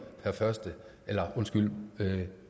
per